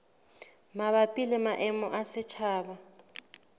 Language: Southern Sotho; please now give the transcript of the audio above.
mabapi le maemo a setjhaba